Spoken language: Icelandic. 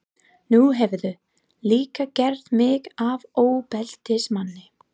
Nú hefurðu líka gert mig að ofbeldismanni.